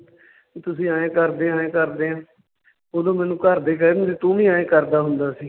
ਵੀ ਤੁਸੀਂ ਆਂਏ ਕਰਦੇ ਆਂਏ ਕਰਦੇ ਆਂ ਓਦੋਂ ਮੈਂਨੂੰ ਘਰਦੇ ਕਹਿ ਦਿੰਦੇ ਤੂੰ ਵੀ ਆਂਏ ਕਰਦਾ ਹੁੰਦਾ ਸੀ।